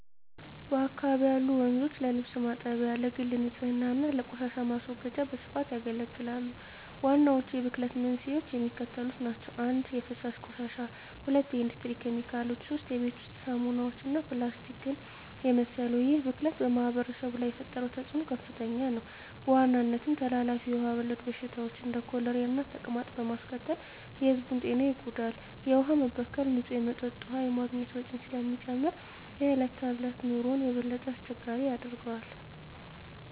በአካባቢው ያሉ ወንዞች ለልብስ ማጠቢያ፣ ለግል ንፅህና እና ለቆሻሻ ማስወገጃ በስፋት ያገለግላሉ። ዋናዎቹ የብክለት መንስኤዎች የሚከተሉት ናቸው - 1) የፍሳሽ ቆሻሻ 2) የኢንዱስትሪ ኬሚካሎች 3) የቤት ውስጥ ሳሙናዎች እና ፕላስቲክን የመሰሉ ይህ ብክለት በማኅበረሰቡ ላይ የፈጠረው ተፅዕኖ ከፍተኛ ነው፤ በዋናነትም ተላላፊ ውሃ ወለድ በሽታዎችን (እንደ ኮሌራና ተቅማጥ) በማስከተል የሕዝቡን ጤና ይጎዳል። የውሃ መበከል ንፁህ መጠጥ ውሃ የማግኘት ወጪን ስለሚጨምር የዕለት ተዕለት ኑሮን የበለጠ አስቸጋሪ ያደርገዋል።